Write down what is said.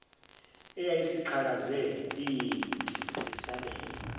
eyayisiqhakaze iyinhle yesabeka